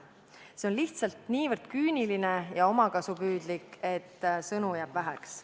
See on lihtsalt niivõrd küüniline ja omakasupüüdlik, et sõnu jääb väheks.